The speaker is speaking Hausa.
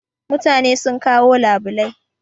Mutane sun kawo labulai